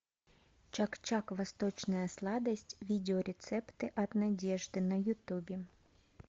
чак чак восточная сладость видео рецепты от надежды на ютубе